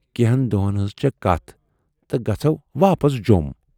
کینہن دۅہَن ہٕنز چھے کتھ تہٕ گژھو واپس جوم۔